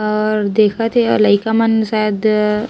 और देखत हे लइका मन शायद --